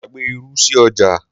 mo gbàgbé irú sí ọjà